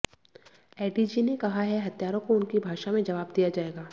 ADG ने कहा है हत्यारों को उनकी भाषा में जवाब दिया जाएगा